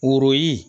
Woro